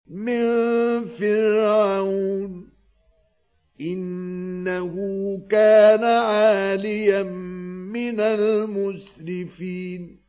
مِن فِرْعَوْنَ ۚ إِنَّهُ كَانَ عَالِيًا مِّنَ الْمُسْرِفِينَ